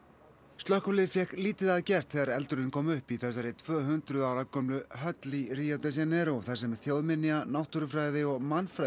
slökkvilið fékk lítið að gert þegar eldurinn kom upp í þessari tvö hundruð ára gömlu höll í Rio de Janeiro þar sem þjóðminja náttúrufræði og